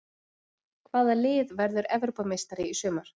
Hvaða lið verður Evrópumeistari í sumar?